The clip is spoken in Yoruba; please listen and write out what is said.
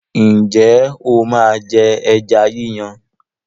Ǹjẹ́ o máa jẹ ẹja yí yàn?